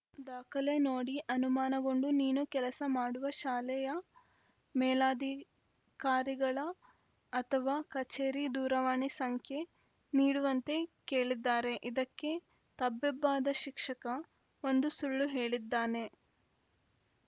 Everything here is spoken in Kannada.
ದಾಖಲೆ ನೋಡಿ ಅನುಮಾನಗೊಂಡು ನೀನು ಕೆಲಸ ಮಾಡುವ ಶಾಲೆಯ ಮೇಲಾಧಿಕಾರಿಗಳ ಅಥವಾ ಕಚೇರಿ ದೂರವಾಣಿ ಸಂಖ್ಯೆ ನೀಡುವಂತೆ ಕೇಳಿದ್ದಾರೆ ಇದಕ್ಕೆ ತಬ್ಬಿಬ್ಬಾದ ಶಿಕ್ಷಕ ಒಂದು ಸುಳ್ಳು ಹೇಳಿದ್ದಾನೆ